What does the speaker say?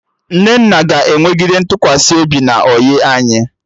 Nnenna ga-enwegide ntụkwasị obi na ọyị anyị